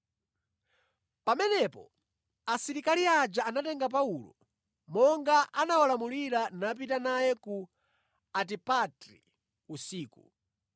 Pamenepo asilikali aja anatenga Paulo monga anawalamulira napita naye ku Antipatri usiku.